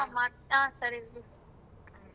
ಸರಿ ಬಿಡಿ.